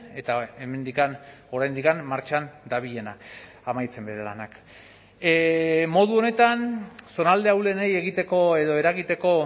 eta hemendik oraindik martxan dabilena amaitzen bere lanak modu honetan zonalde ahulenei egiteko edo eragiteko